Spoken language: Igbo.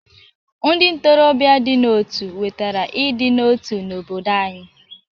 Ndị ntorobịa dị n'otu wetara ịdị n'otu n'obodo anyị.